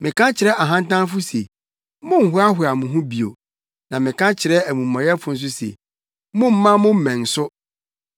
Meka kyerɛ ahantanfo se, ‘Monnhoahoa mo ho bio,’ na meka kyerɛ amumɔyɛfo nso se, ‘Mommma mo mmɛn so.